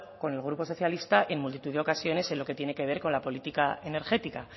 con el grupo socialista en multitud de ocasiones en lo que tiene que ver con la política energética